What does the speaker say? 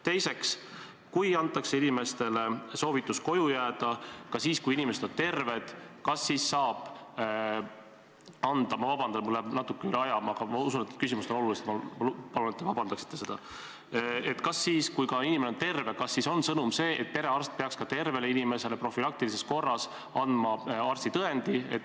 Teiseks, kui inimestele antakse soovitus koju jääda ka siis, kui inimesed on terved, kas siis – ma palun vabandust, mul läheb natuke üle aja, aga ma usun, et need küsimused on olulised, nii et ma palun, et te vabandaksite mind – on sõnum see, et perearst peaks ka tervele inimesele profülaktika korras andma arstitõendi?